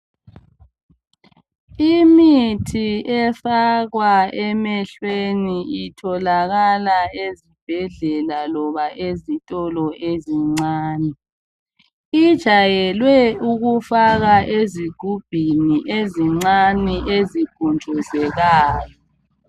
Efakwa emehlweni itholakala ezibhedlela loba ezitolo ezincane. Ijayelwe ukufaka ezigubhini ezincane ezipuntshuzekayo.